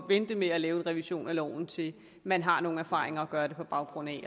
vente med at lave en revision af loven til man har nogle erfaringer at gøre det på baggrund af